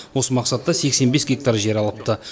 осы мақсатта сексен бес гектар жер алыпты